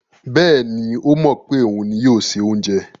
Bẹ́ẹ̀ni, ó mọ̀ pé òun ni yóò se oúnjẹ.